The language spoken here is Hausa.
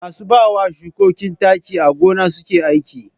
Masu bawa shukoki taki a gona suke aiki.